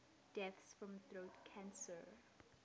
deaths from throat cancer